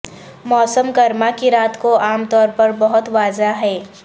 موسم گرما کی رات کو عام طور پر بہت واضح ہیں